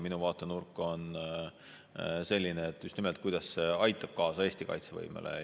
Minu vaatenurk on just nimelt see, kuidas see aitab kaasa Eesti kaitsevõimele.